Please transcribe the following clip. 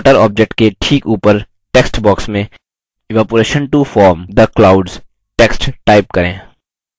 water object के ठीक ऊपर text box में evaporation to form the clouds text type करें